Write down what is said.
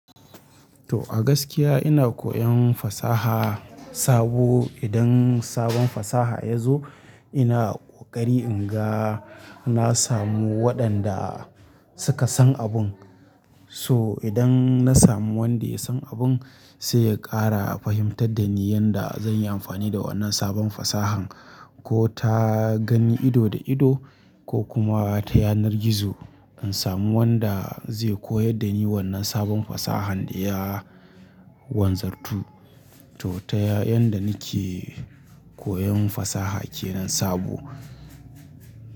To a gaskiya ina koyan fasaha sabo. Idan sabon fasaha ya zo ina kokari in ga na samu waɗanda suka san abun. So idan na samu wanda ya san abun sai ya ƙara fahimtar da ni yanda zan yi amfani da wannan sabon fasahan ko ta gani ido da ido ko kuma ta yanar gizo. In samu wanda zai koyar da ni wannan sabon fasahan da ya wanzartu. To ta ya yanda nake koyan fasaha kenan sabo.